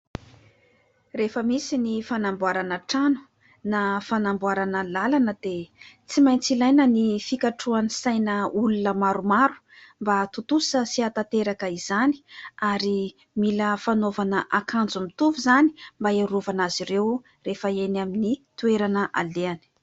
Rehefa misy ny fanamboarana trano na fanamboarana lalana dia tsy maintsy ilaina ny fikatroan'ny saina olona maromaro mba hatontosa sy hatanteraka izany ; ary mila fanaovana akanjo mitovy izany mba hiarovana azy ireo rehefa eny amin'ny toerana alehany.